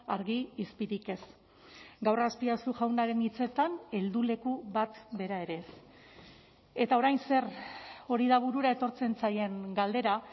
argi izpirik ez gaur azpiazu jaunaren hitzetan helduleku bat bera ere ez eta orain zer hori da burura etortzen zaien galdera